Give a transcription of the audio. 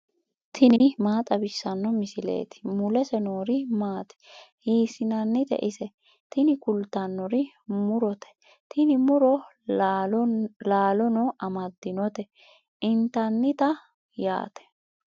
tini maa xawissanno misileeti ? mulese noori maati ? hiissinannite ise ? tini kultannori murote. tini muro laalono amaddinote intannita yaate.